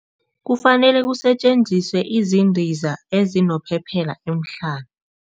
Kufanele kusetjenziswe izindiza ezinophephela emhlana.